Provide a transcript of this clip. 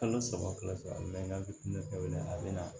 Kalo saba kɔfɛ a mɛnna bilen ka wili a bɛ na